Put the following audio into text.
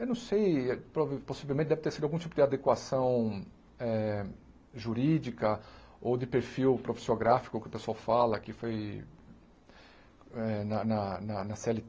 Eu não sei, prov possivelmente, deve ter sido algum tipo de adequação eh jurídica ou de perfil profissiográfico, que o pessoal fala, que foi eh na na na na Cê éle